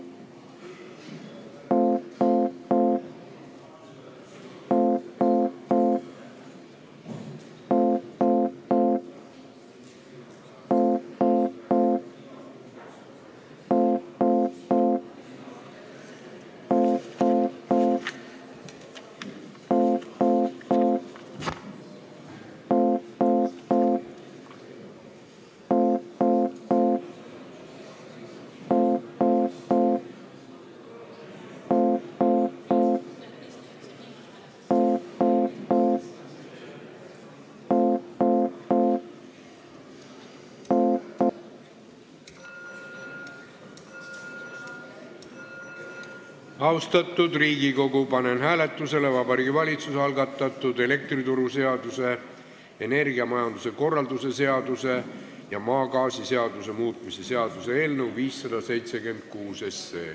Austatud Riigikogu, panen hääletusele Vabariigi Valitsuse algatatud elektrituruseaduse, energiamajanduse korralduse seaduse ja maagaasiseaduse muutmise seaduse eelnõu 576.